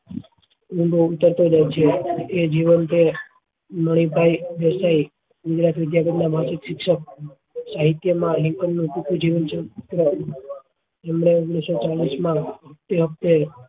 ઊંડો ઉતરતો જાય છે એ જીવન ભર મની ભાઈ દેસાઈ શિક્ષક સાહિત્ય માં નું ટૂંકું જીવન ચલચિત્ર એમને તે વખતે